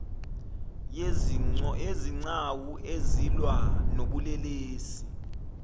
yezigcawu ezilwa nobulelesi